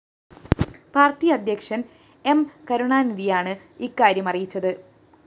party അധ്യക്ഷന്‍ M കരുണാനിധിയാണ് ഇക്കാര്യം അറിയിച്ചത്